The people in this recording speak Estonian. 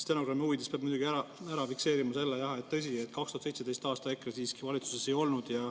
Stenogrammi huvides peab muidugi selle jah ära fikseerima: 2017. aastal EKRE siiski valitsuses ei olnud.